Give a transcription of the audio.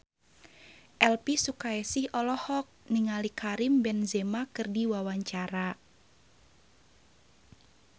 Elvi Sukaesih olohok ningali Karim Benzema keur diwawancara